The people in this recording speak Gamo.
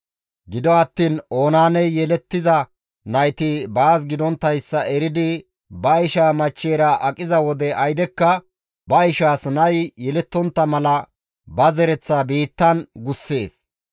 Gido attiin Oonaaney yelettiza nayti baas gidonttayssa eridi ba ishaa machcheyra aqiza wode aydekka ba ishaas nay yelettontta mala ba zereththaa biittan gussees.